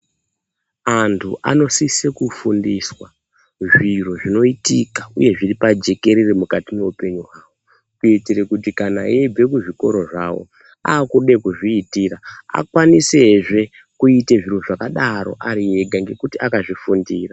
Antu anosise kufundiswa zviro zvinoitika uye zviri pajekerere mukati mwehupenyu hwavo kuitire kuti eyibve kuzvikoro zvavo akuda kuzviitira akwanisezve kuita zviro zvakadaro ari ega ngekuti akazvifundira.